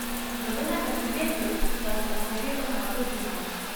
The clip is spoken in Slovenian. Zato ne preseneti, da se mnogi od nas zredimo.